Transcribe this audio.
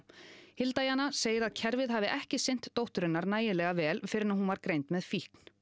hilda Jana segir að kerfið hafi ekki sinnt dóttur hennar nægilega fyrr en hún var greind með fíkn